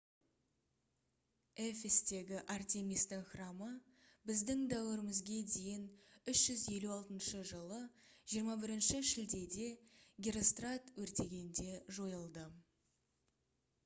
эфестегі артемистің храмы б.д.д. 356 жылы 21 шілдеде герострат өртегенде жойылды